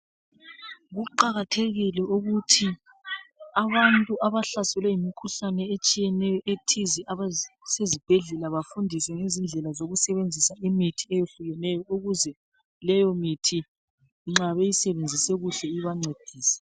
Kuqakathekile ukuthi abantu abahlaselwe yimkhuhlane etshiyeneyo ethize, abasezibhedlela bafundise ngendlela etshiyeneyo eyokusebenzisa imithi etshiyeneyo ukuze leyo mithi nxa beyisebenzise kuhle ibanedise.